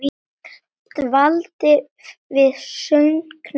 Dvaldi við söngnám í Köln.